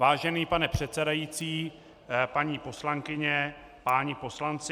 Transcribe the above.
Vážený pane předsedající, paní poslankyně, páni poslanci.